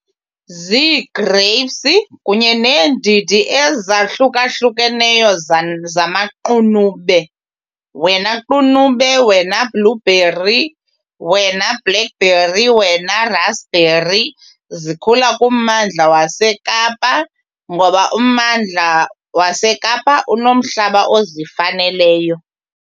Zii-igrapes kunye neendidi ezahlukahlukeneyo zamaqunube. Wena qunube, wena blueberry, wena blackberry wena raspberry, zikhula kummandla waseKapa ngoba ummandla waseKapa unomhlaba ozifaneleyo.